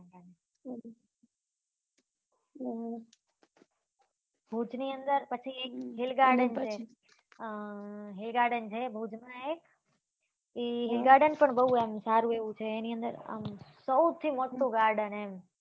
ભુજ ની અંદર પછી એક hillgarden અ hill garden છે ભુજ માં એક એ hill garden પર બઉ અંધારું એવું છે એની અંદર આમ સૌથી મોટું garden એમ.